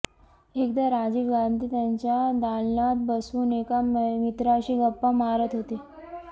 एकदा राजीव गांधी त्यांच्या दालनात बसून एका मित्राशी गप्पा मारत होते